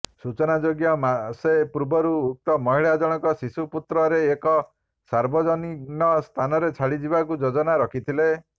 ସୂଚନାଯୋଗ୍ୟ ମାସେ ପୂର୍ବରୁ ଉକ୍ତ ମହିଳା ଜଣକ ଶିଶୁପୁତ୍ରରେ ଏକ ସାର୍ବଜନିନ ସ୍ଥାନରେ ଛାଡି ଯିବାକୁ ଯୋଜନା ରଖିଥିଲେ